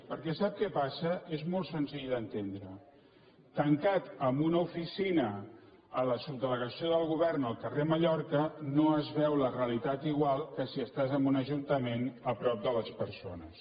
perquè sap què passa és molt senzill d’entendre tancat en una ofici·na a la subdelegació del govern al carrer mallorca no es veu la realitat igual que si estàs en un ajuntament a prop de les persones